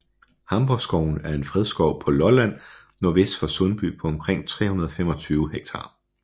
Hamborgskoven er en fredskov på Lolland nordvest for Sundby på omkring 325 ha